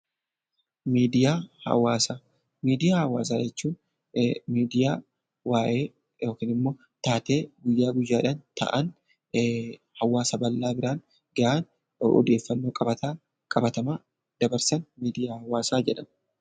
Miidiyaa hawaasaa, miidiyaa hawaasaa jechuun miidiyaa waa'ee yookiin immoo taatee guyyaa guyyaadhaan ta'an hawaasa bal'aa biraan gahaan odeeffannoo qabatamaa dabarsan miidiyaa hawaasaa jedhamu.